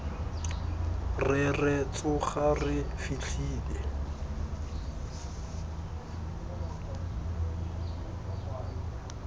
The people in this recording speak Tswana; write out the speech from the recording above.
re re tsoga re fitlhele